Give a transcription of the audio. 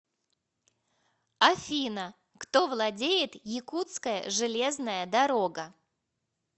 афина кто владеет якутская железная дорога